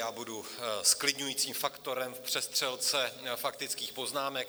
Já budu zklidňujícím faktorem v přestřelce faktických poznámek.